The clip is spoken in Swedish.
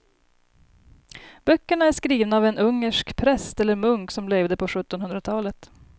Böckerna är skrivna av en ungersk präst eller munk som levde på sjuttonhundratalet.